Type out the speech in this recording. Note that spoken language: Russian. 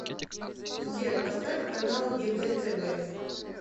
сбер поставь канал егэ тв